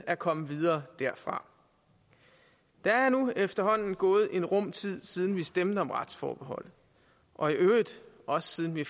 at komme videre derfra der er nu efterhånden gået en rum tid siden vi stemte om retsforbeholdet og i øvrigt også siden vi